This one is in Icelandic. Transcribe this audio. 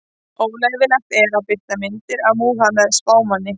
Óleyfilegt er að birta myndir af Múhameð spámanni.